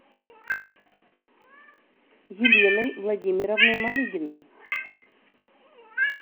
еленой владимировной малыгиной